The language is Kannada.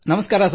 ನಮಸ್ಕಾರ